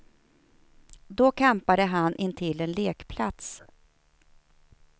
Då campade han intill en lekplats.